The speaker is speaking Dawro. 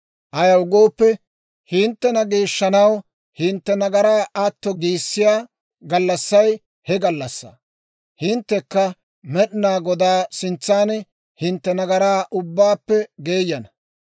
Ayaw gooppe, hinttena geeshshanaw, hintte nagaraa atto giissiyaa gallassay he gallassaa. Hinttekka Med'inaa Godaa sintsan hintte nagaraa ubbaappe geeyana.